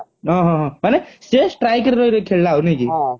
ଓହୋହୋ ମାନେ ସିଏ strike ରେ ରହି ରହି ଖେଳିଳ ଆଊ ନାଇକି